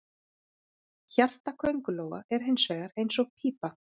Hjarta köngulóa er hins vegar eins og pípa.